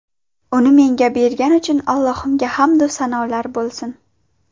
Uni menga bergani uchun Allohimga hamdu sanolar bo‘lsin!